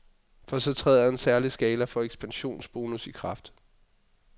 For så træder en særlig skala for ekspansionsbonus i kraft.